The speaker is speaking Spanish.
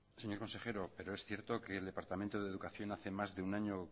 señor consejero pero es cierto que el departamento de educación hace más de un año